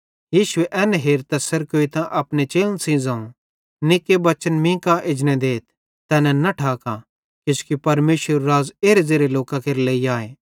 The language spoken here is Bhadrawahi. यीशुए एन हेरतां सेरकोइतां अपने चेलन सेइं ज़ोवं निक्के बच्चन मीं कां एजने देथ तैनन् न ठाका किजोकि परमेशरेरू राज़ एरे ज़ेरे लोकां केरे लेइ आए